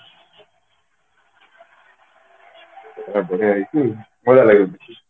ଏବେ ତ ହେଇଛି ଭଲ ହେଇଛି